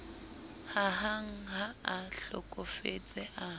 hahang ha a hlokofetse a